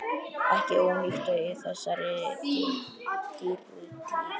Ekki ónýtt í þessari dýrtíð.